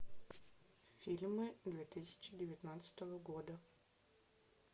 фильмы две тысячи девятнадцатого года